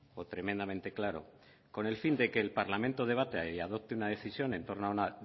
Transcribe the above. o tremendamente claro con el fin de que el parlamento debata y adopte una decisión en torno a una